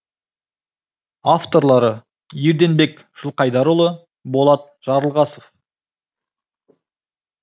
авторлары ерденбек жылқайдарұлы болат жарылғасов